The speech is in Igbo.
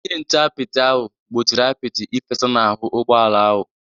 Onye nche apịtị ahụ gbochiri apịtị ịfesa n’ahụ́ ụgbọ ala ahụ.